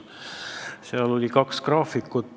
Seal oli kaks graafikut.